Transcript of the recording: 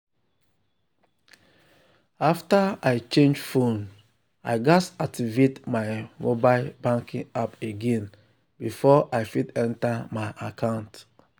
after i change phone i gatz activate my mobile banking app again before i fit enter my account.